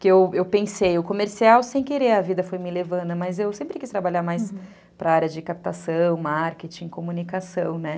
Porque eu eu pensei, o comercial, sem querer, a vida foi me levando, mas eu sempre quis trabalhar mais para a área de captação, marketing, comunicação, né?